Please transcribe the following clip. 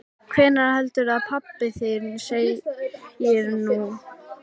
Hvað heldurðu að pabbi þinn segi nú?